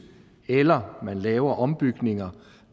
eller man laver ombygninger